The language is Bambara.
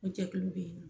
O jɛkulu bɛ yen